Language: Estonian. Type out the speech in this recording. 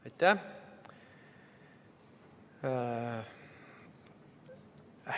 Aitäh!